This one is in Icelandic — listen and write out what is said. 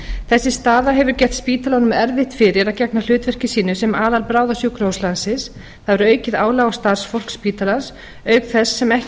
þessi staða hefur gert spítalanum erfitt fyrir að gegna hlutverki sínu sem aðalbráðasjúkrahús landsins það er aukið álag á starfsfólk spítalans auk þess sem ekki þarf að